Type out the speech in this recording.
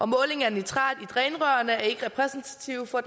måling af nitrat i drænrørene er ikke repræsentativ for